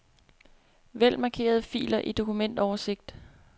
Vælg markerede filer i dokumentoversigt.